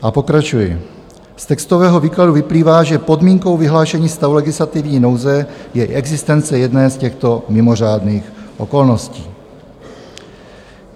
A pokračuji: "Z textového výkladu vyplývá, že podmínkou vyhlášení stavu legislativní nouze je existence jedné z těchto mimořádných okolností.